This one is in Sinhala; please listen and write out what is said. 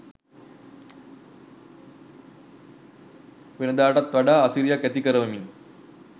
වෙනදාටත් වඩා අසිරියක් ඇති කරවමින්